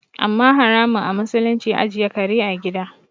Amma haramun a musulunci ajiye kare a gida